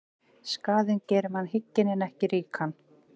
Skaðinn gerir mann hygginn en ekki ríkan.